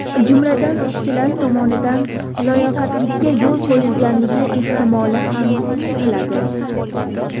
Jumladan, ishchilar tomonidan loqaydlikka yo‘l qo‘yilganligi ehtimoli ham tekshiriladi.